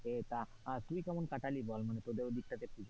এ তা তুই কেমন কাটালি বল মানে তোদের ওই দিকটাতে?